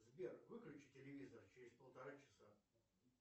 сбер выключи телевизор через полтора часа